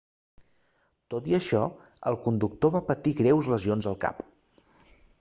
tot i això el conductor va patir greus lesions al cap